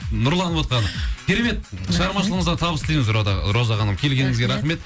нұрланывотқаны керемет шығармашылығыңызға табыс тілейміз роза ханым келгеніңізге рахмет